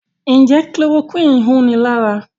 Njé Chloroquine hùn ní ára?